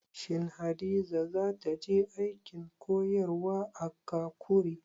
Shin Hadiza za ta je aikin koyarwa a Kakuri?